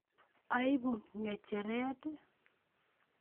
Aibu kicheret